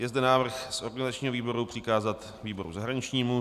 Je zde návrh z organizačního výboru přikázat výboru zahraničnímu.